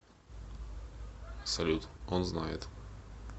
салют он знает